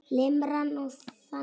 Limran er þannig